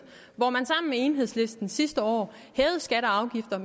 hvor man sammen med enhedslisten sidste år hævede skatter og afgifter